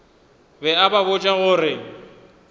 be a ba botša gore